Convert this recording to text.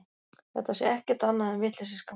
Þetta sé ekkert annað en vitleysisgangur